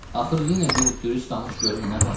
Axır yenə bir dürüst danış görüm nə var.